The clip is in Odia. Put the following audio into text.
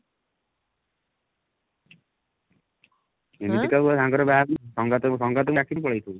ଏମିତି କଉ ସାଙ୍ଗ ର ବାହାଘର ସଂଗାତ କୁ ସଂଗାତ କୁ ଡାକିନୁ ପଳେଇଥିବୁ